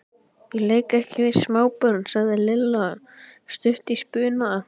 Ég leik ekki við smábörn sagði Lilla stutt í spuna.